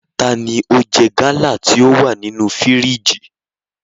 Tani o jẹ gala ti o wa ninu firiji?